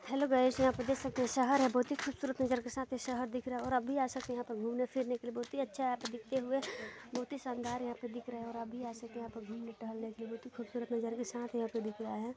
Hello guys यहाँ पे देख सकते है शहर है बहुत ही खूबसरत नजर के साथ ये शहर दिख रहा है और आप भी आ सकते है यहाँ पर घूमने फिरने के लिए बहुत ही अच्छा है यहाँ पे दिखते हुए बहुत ही शानदार यहाँ पर दिख रहा है और आप भी आ सकते है यहाँ पर घुमने टहलने के लिए बहुत ही खूबसूरत नज़र के साथ यहाँ पे दिख रहा है।